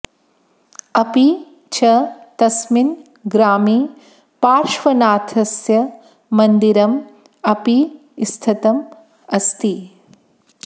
अपि च तस्मिन् ग्रामे पार्श्वनाथस्य मन्दिरम् अपि स्थितम् अस्ति